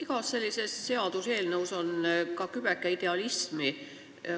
Igas sellises seaduseelnõus on kübeke idealismi.